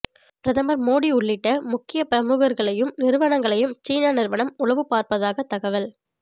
பிரதமர் மோடி உள்ளிட்ட முக்கிய பிரமுகர்களையும் நிறுவனங்களையும் சீன நிறுவனம் உளவு பார்ப்பதாக தகவல்